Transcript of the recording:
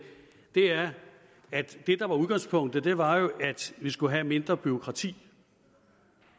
er at det der var udgangspunktet jo var at vi skulle have mindre bureaukrati